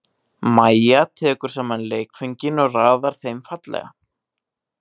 Mæja tekur saman leikföngin og raðar þeim fallega.